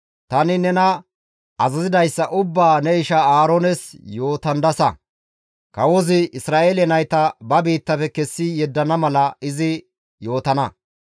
tani nena azazidayssa ubbaa ne isha Aaroones yootandassa; kawozi Isra7eele nayta ba biittafe kessi yeddana mala izi yootana.